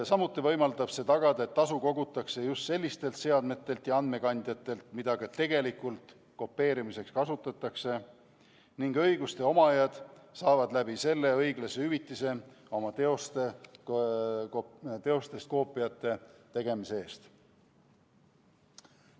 Samuti võimaldab see tagada, et tasu kogutakse just sellistelt seadmetelt ja andmekandjatelt, mida ka tegelikult kopeerimiseks kasutatakse, ning õiguste omajad saavad läbi selle õiglase hüvitise oma teostest koopiate tegemise eest.